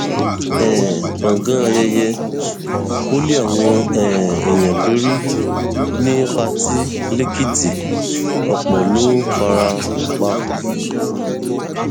um gbọngàn ayẹyẹ wo lé àwọn um èèyàn lórí ní pátì lẹkìtì ọpọ ló fara pa